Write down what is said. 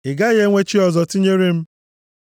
“Ị gaghị enwe chi ọzọ tinyere m.